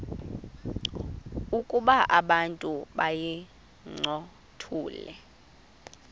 ukuba abantu bayincothule